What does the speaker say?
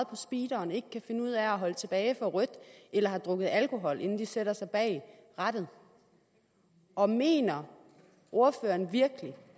på speederen ikke kan finde ud af at holde tilbage for rødt eller har drukket alkohol inden de sætter sig bag rattet og mener ordføreren virkelig